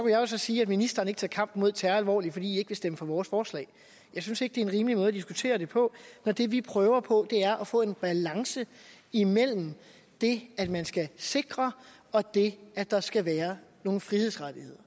jo så sige at ministeren ikke tager kampen mod terror alvorligt fordi man vil stemme for vores forslag jeg synes ikke det er en rimelig måde at diskutere det på når det vi prøver på er at få en balance imellem det at man skal sikre og det at der skal være nogle frihedsrettigheder